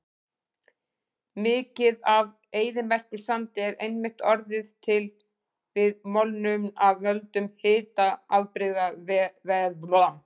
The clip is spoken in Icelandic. Mikið af eyðimerkursandi er einmitt orðið til við molnun af völdum hitabrigðaveðrunar.